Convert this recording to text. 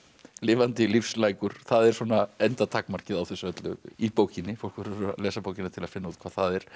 lifandi það er svona endatakmarkið á þessu öllu í bókinni fólk verður að lesa bókina til að finna út hvað það er